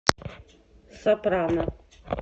сопрано